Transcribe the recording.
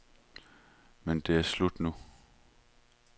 Men det er slut nu.